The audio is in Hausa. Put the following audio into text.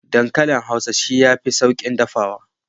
Dankalin hausa shi yafi saukin dafawa.